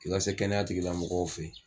I ka se kɛnɛya tigila mɔgɔw fɛ ye.